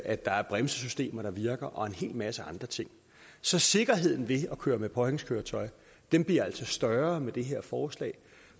at der er et bremsesystem der virker og en hel masse andre ting så sikkerheden ved at køre med påhængskøretøj bliver altså større med det her forslag